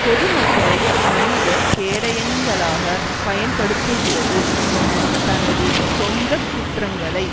பொதுமக்களை மனித கேடயங்களாக பயன்படுத்துகிறது என தனது சொந்த குற்றங்களை